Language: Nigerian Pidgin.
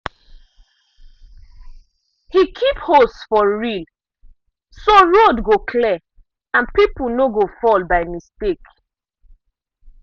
he keep hose for reel so road go clear and people no go fall by mistake.